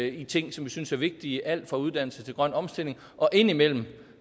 i ting som vi synes er vigtige alt fra uddannelse til grøn omstilling og indimellem